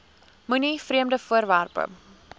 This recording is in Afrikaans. moenie vreemde voorwerpe